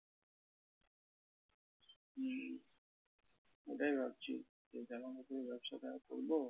হম ওটাই ভাবছি যে জামাকাপড়ের ব্যবসা টা করবো।